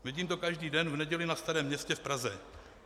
Vidím to každý den v neděli na Starém městě v Praze.